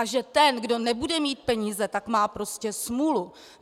A že ten, kdo nebude mít peníze, tak má prostě smůlu.